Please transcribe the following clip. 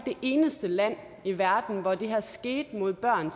eneste land i verden hvor det her skete mod børn